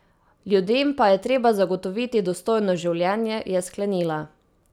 Ljudem pa je treba zagotoviti dostojno življenje, je sklenila.